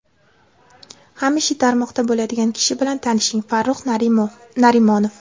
Hamisha tarmoqda bo‘ladigan kishi bilan tanishing Farrux Narimonov .